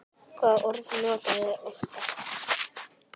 Hvaða orð notarðu oftast?